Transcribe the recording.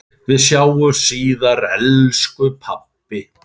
Við sjáumst síðar elsku pabbi.